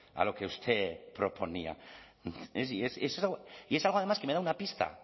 a lo que usted proponía y es algo además que me da una pista